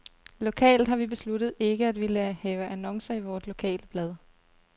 Lokalt har vi besluttet ikke at ville have annoncer i vort lokale blad.